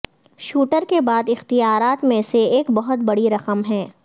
shooter کے بعد اختیارات میں سے ایک بہت بڑی رقم ہے